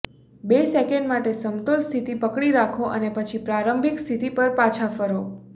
બે સેકન્ડ માટે સમતોલ સ્થિતિ પકડી રાખો અને પછી પ્રારંભિક સ્થિતિ પર પાછા ફરો